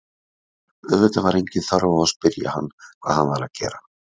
Auðvitað var engin þörf á að spyrja hvað hann væri að gera.